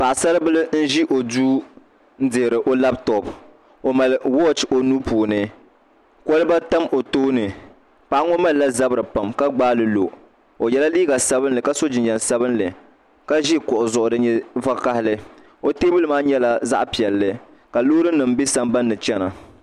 Paɣasaribili n ʒi o duu n dihiri o labtop o mali wooch o nuu puuni kolba tam o tooni paɣa ŋo malila zabiri pam ka gbaali lo o yɛla liiga sabinli ka so jinjɛm sabinli ka ʒi kuɣu zuɣu din nyɛ vakaɣali o teebuli maa nyɛla zaɣ piɛlli ka loori nim bɛ sambanni chɛna